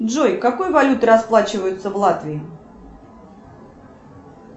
джой какой валютой расплачиваются в латвии